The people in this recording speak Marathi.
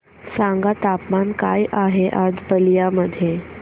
सांगा तापमान काय आहे आज बलिया मध्ये